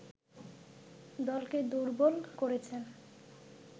দলকে দুর্বল করেছেন